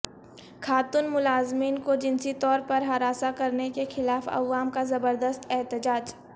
خاتون ملازمین کو جنسی طور پر ہراساں کرنے کے خلاف عوام کا زبردست احتجاج